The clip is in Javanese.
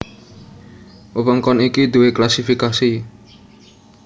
Wewengkon iki duwé klasifikasi